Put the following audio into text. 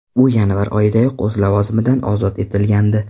U yanvar oyidayoq o‘z lavozimidan ozod etilgandi.